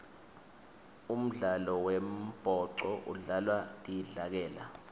umdlalo wembhoco udlalwa tidlakela